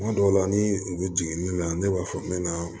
Kuma dɔw la ni u bɛ jigin ni na ne b'a fɔ ne na